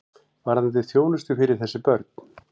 Varðandi þjónustu fyrir þessi börn.